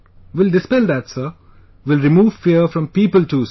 Will dispel that Sir, will remove fear from people too sir